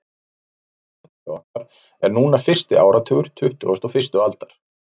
Samkvæmt tímatali okkar er núna fyrsti áratugur tuttugustu og fyrstu aldar.